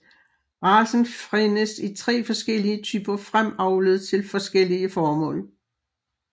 Racen findes i tre forskellige typer fremavlet til forskellige formål